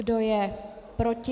Kdo je proti?